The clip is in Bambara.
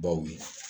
Baw ye